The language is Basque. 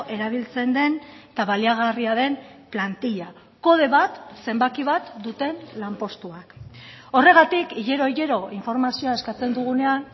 erabiltzen den eta baliagarria den plantilla kode bat zenbaki bat duten lanpostuak horregatik hilero hilero informazioa eskatzen dugunean